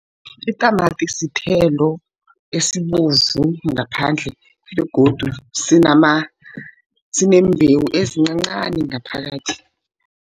Itamati sithelo esibovu ngaphandle begodu sineembhewu ezincancani ngaphakathi.